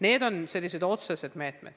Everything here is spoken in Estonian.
Need on sellised otsesed meetmed.